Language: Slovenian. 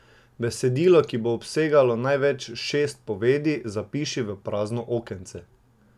Besedilo, ki bo obsegalo največ šest povedi, zapiši v prazno okence.